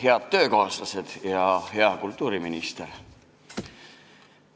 Head töökaaslased ja hea kultuuriminister!